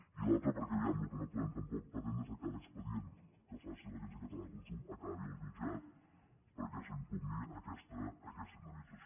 i l’altre perquè vegem el que no podem tampoc pretendre és a cada expedient que faci l’agència catalana de consum acabi al jutjat perquè s’impugni aquesta indemnització